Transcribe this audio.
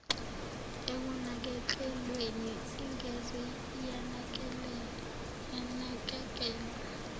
ekunakekelweni ingeze yanakekelwa